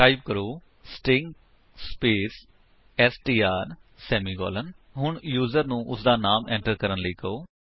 type ਕਰੋ string space STR semicolon ਹੁਣ user ਨੂੰ ਉਸਦਾ ਨਾਮ ਐਟਰ ਕਰਣ ਲਈ ਕਹੋ